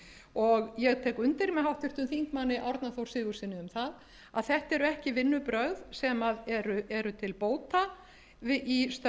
og ég tek undir með háttvirtum þingmanni árna þór sigurðssyni um það að þetta eru ekki vinnubrögð sem eru til bóta í störfum